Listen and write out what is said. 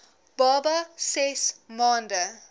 baba ses maande